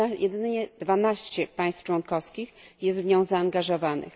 Jedynie 12 państw członkowskich jest w nią zaangażowanych.